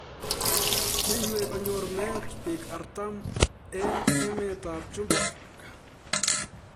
Kiywei konyor meet biik artam eng emet ab chumbek